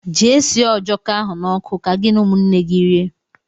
Jee sie ọjọko ahụ na ọkụ, ka gị na ụmụnne gị rie!!!!